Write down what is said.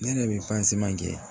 Ne yɛrɛ bɛ kɛ